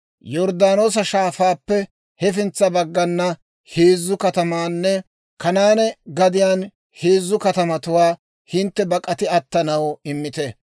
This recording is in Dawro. Yorddaanoosa Shaafaappe hafintsa baggana heezzu katamaanne Kanaane gadiyaan heezzu katamatuwaa hintte bak'ati attanaw immite.